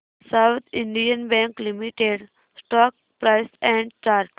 south Indian Bank Limited stock price and chart